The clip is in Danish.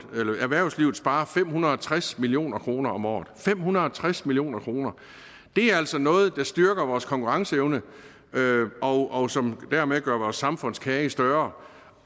erhvervslivet sparer fem hundrede og tres million kroner om året fem hundrede og tres million kroner det er altså noget der styrker vores konkurrenceevne og som dermed gør vores samfundskage større